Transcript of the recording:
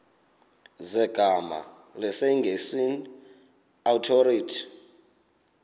zegama lesngesn authorit